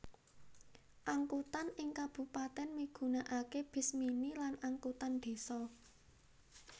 Angkutan ing kabupatèn migunaaké bis mini lan angkutan désa